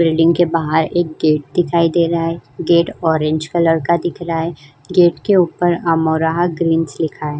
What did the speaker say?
Building के बाहर एक गेट दिखाई दे रहा है। गेट ऑरेंज कलर का दिख रहा है। गेट के ऊपर अमरोहा ग्रीनस लिखा है।